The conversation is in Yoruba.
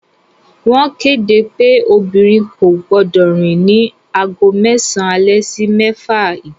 Wọ́n kéde pé obìnrin kò gbọdọ̀ rìn ní aago mẹ́sàn alẹ́ sí mẹ́fà ìdájí